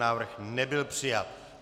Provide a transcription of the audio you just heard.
Návrh nebyl přijat.